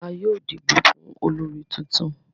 A yóò dibo fún olórí títún.